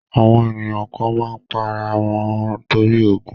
Àwọn ènìyàn kan má ń pa ara wọn torí ogún